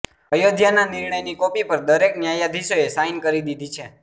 અયોધ્યાના નિર્ણયની કોપી પર દરેક ન્યાયાધીશોએ સાઇન કરી દીધી છે